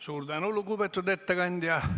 Suur tänu, lugupeetud ettekandja!